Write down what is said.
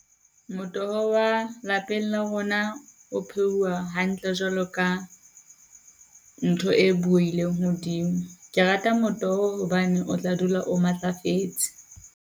Motoho wa lapeng la rona o pheuwe hantle jwalo ka ntho e bueileng hodimo. Ke rata motoho hobane o tla dula o matlafetse.